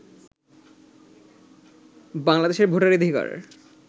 বাংলাদেশের ভোটাধিকার